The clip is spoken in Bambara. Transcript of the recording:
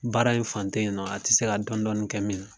Baara in fan teyi nɔ a ti se ka dɔɔnin dɔɔnin kɛ min na.